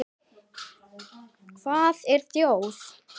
Hvað er þjóð?